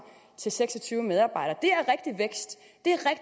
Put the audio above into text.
til seks og tyve medarbejdere